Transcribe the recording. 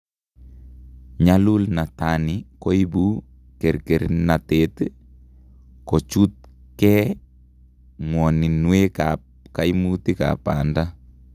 Nyalulnatani koibu kerkernatet, kochuutkee, ng'woninwek ak kaimutik ab baanda